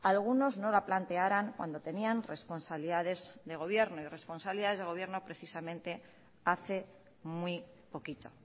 algunos no la plantearan cuando tenían responsabilidades de gobierno y responsabilidades de gobierno precisamente hace muy poquito